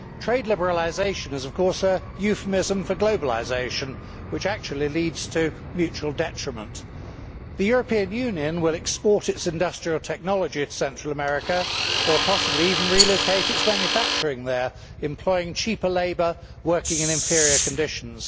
Trade liberalisation is, of course, a euphemism for globalisation, which actually leads to mutual detriment. The European Union will export its industrial technology to Central America, or possibly even relocate its manufacturing there, employing cheaper labour working in inferior conditions.